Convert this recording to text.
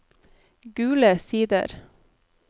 Gule Sider